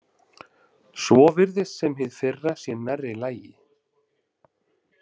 Svo virðist sem hið fyrra sé nærri lagi.